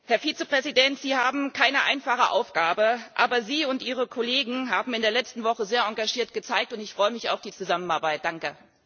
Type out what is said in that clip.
Herr Vizepräsident, Sie haben keine einfache Aufgabe, aber Sie und Ihre Kollegen haben sich in der letzten Woche sehr engagiert gezeigt, und ich freue mich auf die Zusammenarbeit, danke.